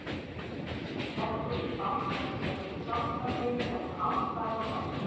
Leggur í banka til að geta hjálpað þeim ef á þarf að halda.